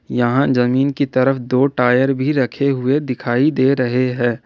यहां जमीन की तरफ दो टायर भी रखे हुए दिखाई दे रहे हैं।